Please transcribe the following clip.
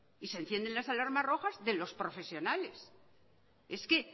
y se encienden las alarmas rojas de los profesionales es que